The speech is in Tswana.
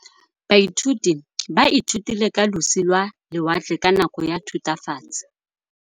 Baithuti ba ithutile ka losi lwa lewatle ka nako ya Thutafatshe.